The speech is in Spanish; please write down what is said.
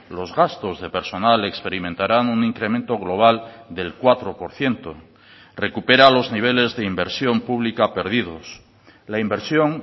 los gastos de personal experimentarán un incremento global del cuatro por ciento recupera los niveles de inversión pública perdidos la inversión